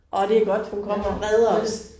Åh det godt hun kommer og redder os